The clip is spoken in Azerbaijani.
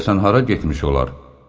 Görəsən hara getmiş olar?